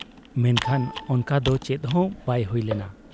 ᱢᱮᱱᱠᱷᱟᱱ ᱚᱱᱠᱟ ᱫᱚ ᱪᱮᱫ ᱦᱚᱸ ᱵᱟᱭ ᱦᱩᱭ ᱞᱮᱱᱟ ᱾